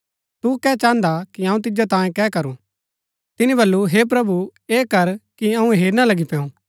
तू कै चान्हदा कि अऊँ तिजो तांयें कै करू तिनी वलु हे प्रभु ऐह कर कि अऊँ हेरना लगी पैंऊ